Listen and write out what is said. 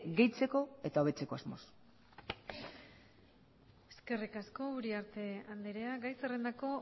gehitzeko eta hobetzeko asmoz eskerrik asko uriarte andrea gai zerrendako